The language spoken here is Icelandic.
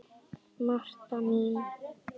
Marta mín.